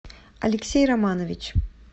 алексей романович